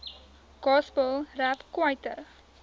gospel rap kwaito